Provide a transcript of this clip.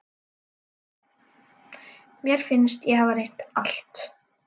Mér fannst ég hafa reynt allt.